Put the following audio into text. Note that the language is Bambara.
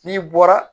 N'i bɔra